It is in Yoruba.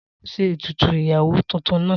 Ta ló ṣe ètùtù ìyàwó tuntun náà?